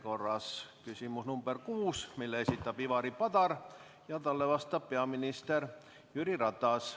See on küsimus nr 6, mille esitab Ivari Padar ja talle vastab peaminister Jüri Ratas.